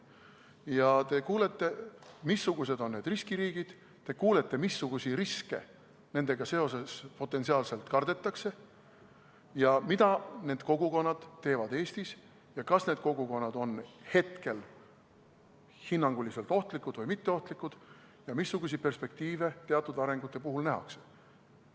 Siis te kuulete, missugused on need riskiriigid, te kuulete, missuguseid riske nendega seoses potentsiaalselt kardetakse, mida need kogukonnad teevad Eestis, kas need kogukonnad on hetkel hinnanguliselt ohtlikud või mitteohtlikud ja missuguseid perspektiive teatud arengu puhul nähakse.